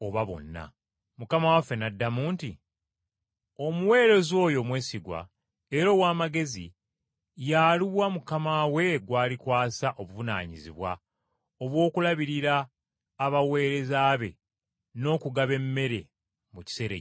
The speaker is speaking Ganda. Mukama waffe n’addamu nti, “Omuweereza oyo omwesigwa era ow’amagezi ye aluwa mukama we gw’alikwasa obuvunaanyizibwa obw’okulabirira abaweereza be n’okugaba emmere mu kiseera ekituufu?